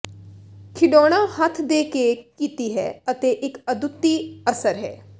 ਖਿਡੌਣਾ ਹੱਥ ਦੇ ਕੇ ਕੀਤੀ ਹੈ ਅਤੇ ਇੱਕ ਅਦੁੱਤੀ ਅਸਰ ਹੈ